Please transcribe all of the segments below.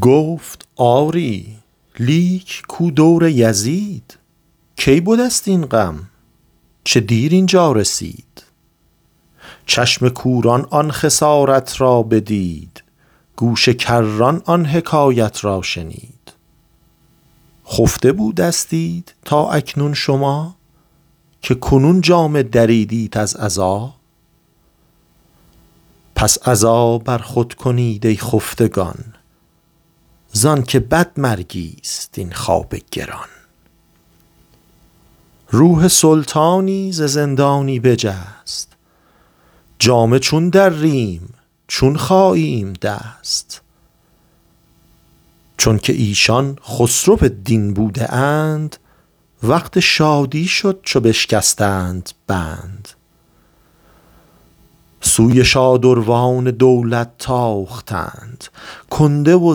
گفت آری لیک کو دور یزید کی بدست این غم چه دیر اینجا رسید چشم کوران آن خسارت را بدید گوش کران آن حکایت را شنید خفته بودستید تا اکنون شما که کنون جامه دریدیت از عزا پس عزا بر خود کنید ای خفتگان زانک بد مرگیست این خواب گران روح سلطانی ز زندانی بجست جامه چون دریم چون خاییم دست چونک ایشان خسرو دین بوده اند وقت شادی شد چو بشکستند بند سوی شادروان دولت تاختند کنده و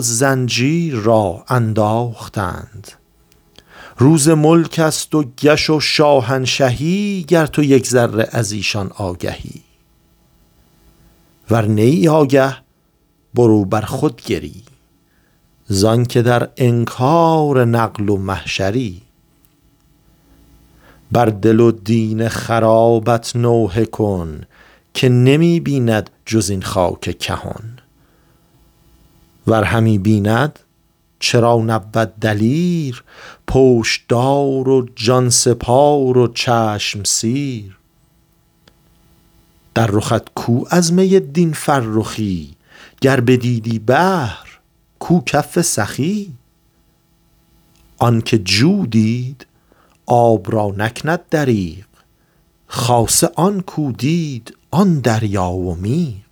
زنجیر را انداختند روز ملکست و کش و شاهنشهی گر تو یک ذره ازیشان آگهی ور نه ای آگه برو بر خود گری زانک در انکار نقل و محشری بر دل و دین خرابت نوحه کن که نمی بیند جز این خاک کهن ور همی بیند چرا نبود دلیر پشتدار و جانسپار و چشم سیر در رخت کو از می دین فرخی گر بدیدی بحر کو کف سخی آنکه جو دید آب را نکند دریغ خاصه آن کو دید آن دریا و میغ